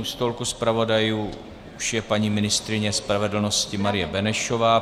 U stolku zpravodajů už je paní ministryně spravedlnosti Marie Benešová.